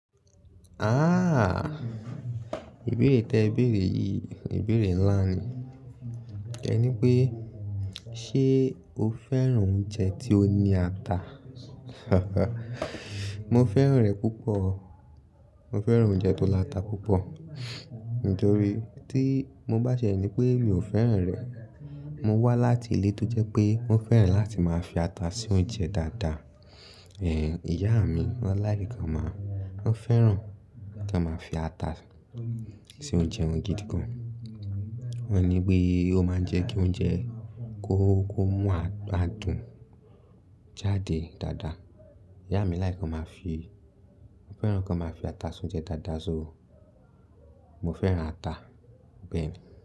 Ah! Ibere ti e bere yi, ibere nla ni. E ni pe, se o feran ounje ti o ni ata? Mo feran re pupo. Mo feran ounje to la ata pupo. Nitori ti mo ba tie ni pe mi o feran re, mo wa lati ile to je pe mo feran lati ma fi ata si ounje dada. Iya mi o like ma, o feran ka ma fi ata si ounje won gidi gan. O ni pe o ma n je ki ounje ko, ko mu adun jade dada. Iya mi like ka ma fi, o feran kan ma fi ata si ounje dada so. Mo feran ata, beeni.